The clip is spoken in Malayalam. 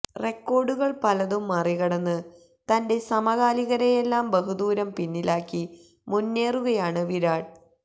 റെക്കോര്ഡുകള് പലതും മറികടന്ന് തന്റെ സമകാലികരെയെല്ലാം ബഹുദൂരം പിന്നിലാക്കി മുന്നേറുകയാണ് വിരാട്